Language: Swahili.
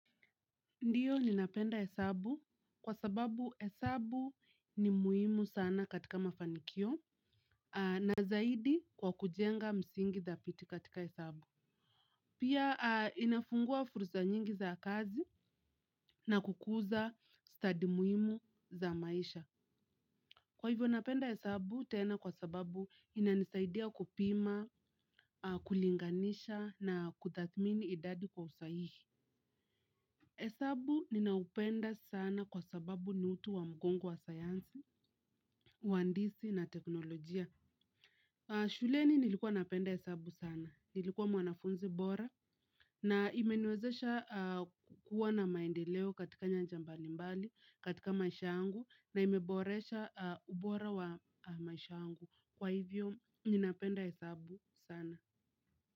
Ndio ninapenda hesabu kwa sababu hesabu ni muhimu sana katika mafanikio na zaidi kwa kujenga msingi dhabiti katika hesabu. Pia inafungua fursa nyingi za kazi na kukuza study muhimu za maisha. Kwaivo napenda hesabu tena kwa sababu inanisaidia kupima kulinganisha na kutathmini idadi kwa usahihi hesabu ninaupenda sana kwa sababu ni utu wa mgongo wa sayansi, uhandisi na teknolojia. Shuleni nilikuwa napenda hesabu sana, nilikuwa mwanafunzi bora. Na imeniwezesha kuwa na maendeleo katika nyanja mbali mbali, katika maisha yangu. Na imeboresha ubora wa maisha yangu, kwa hivyo ninapenda hesabu sana.